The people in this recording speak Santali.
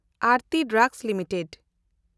ᱮᱱᱰᱛᱤ ᱰᱨᱟᱜᱽᱥ ᱞᱤᱢᱤᱴᱮᱰ